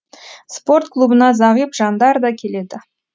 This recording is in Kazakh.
спорт клубына зағип жандар да келеді